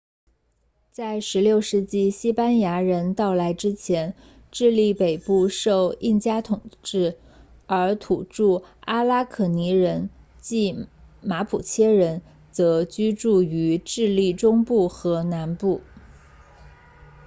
在16世纪西班牙人到来之前智利北部受印加统治而土著阿拉可尼人 araucanians 即马普切人则居住于智利中部和南部